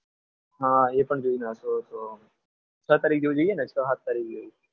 હા એ પણ જોઈ નાખીશું છ તારીખ જેવું જઈએ ને છ સાત તારીખ જેવું.